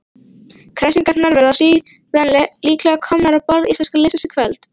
Kræsingarnar verða síðan líklega komnar á borð íslenska liðsins í kvöld.